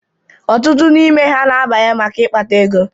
Ọtụtụ n'ime ha na-abanye maka ịkpata ego.